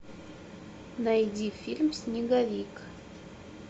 найди фильм снеговик